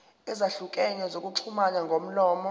ezahlukene zokuxhumana ngomlomo